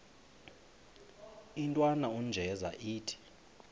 intwana unjeza ithi